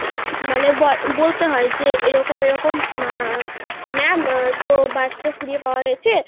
মানে ব~ বলতে হয় যে এরকম এরকম উম ma'am তো বাচ্চা কুড়িয়ে পাওয়া গিয়েছে,